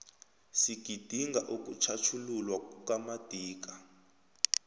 sigidinga ukutjhatjhululwa kukamadiba